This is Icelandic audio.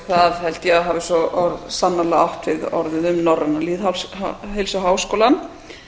það held ég að hafi svo sannarlega átt við orðið um norræna lýðheilsuháskólann